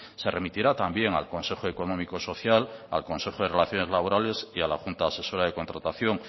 se remitirá también al consejo económico social al consejo de relaciones laborales y a la junta asesora de contratación